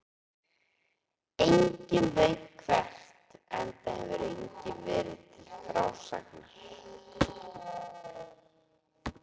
Enginn veit hvert, enda hefur enginn verið til frásagnar.